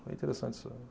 interessante